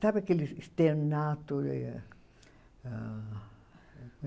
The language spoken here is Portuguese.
Sabe aquele?